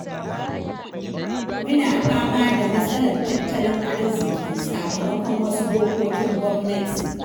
Muna fama da matsalar tattalin arziki, sakamakon wasu dokokin gwamnati.